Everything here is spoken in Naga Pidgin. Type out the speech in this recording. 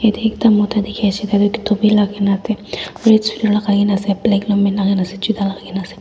ekta mota dikhi ase tai du topi legi nah ase black long pant juta lagai kena ase.